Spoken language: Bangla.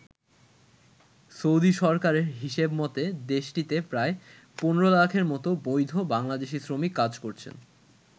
সৌদি সরকারের হিসেব মতে দেশটিতে প্রায় ১৫ লাখের মতো বৈধ বাংলাদেশি শ্রমিক কাজ করছেন।